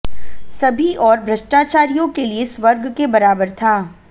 सभी ओर भ्रष्टाचारियों के लिए स्वर्ग के बराबर था